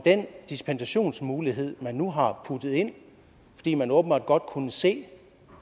den dispensationsmulighed man nu har puttet ind fordi man åbenbart godt kunne se